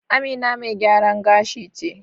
Amina mai gyaran gashi ce.